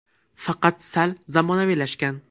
Faqat sal zamonaviylashgan.